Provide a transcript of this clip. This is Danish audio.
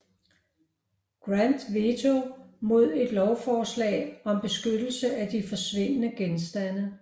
Grant veto mod et lovforslag om beskyttelse af de forsvindende bestande